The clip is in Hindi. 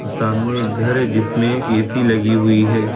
सामने एक घर है जिसमें एक ए_सी लगी हुई है।